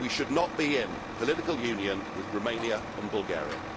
We should not be in political union with Romania and Bulgaria.